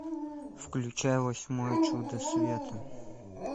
включай восьмое чудо света